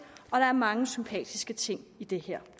og der er mange sympatiske ting i det her